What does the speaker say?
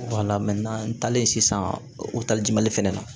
n taalen sisan o talijimali fɛnɛ na